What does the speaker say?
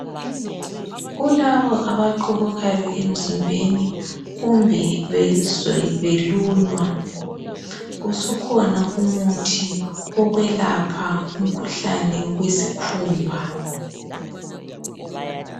Kulabo abaqhubukayo emzimbeni kumbe bezizwa belunywa usukhona umuthi olapha umkhuhlane wesikhumba.